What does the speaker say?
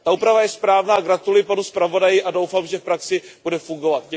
Ta oprava je správná a gratuluji panu zpravodaji a doufám, že v praxi bude fungovat.